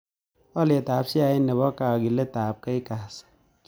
Alyetap sheait ne po kagiiletap kgas